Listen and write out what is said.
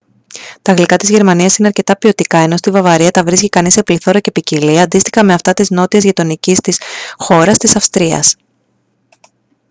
τα γλυκά της γερμανίας είναι αρκετά ποιοτικά ενώ στη βαυαρία τα βρίσκει κανείς σε πληθώρα και ποικιλία αντίστοιχα με αυτά της νότιας γειτονικής της χώρας της αυστρίας